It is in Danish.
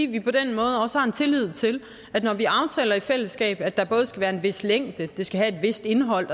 vi på den måde også har tillid til at når vi aftaler i fællesskab at der både skal være en vis længde og at det skal have et vist indhold